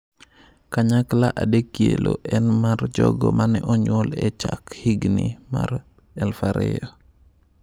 Kanyakla adekielo en mar jogo ma ne onyuol e chak higini mar 2000.